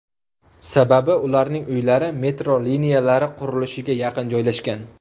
Sababi, ularning uylari metro liniyalari qurilishiga yaqin joylashgan.